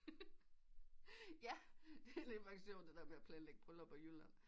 Ja det er lidt variation det der med at planlægge brylluper i Jylland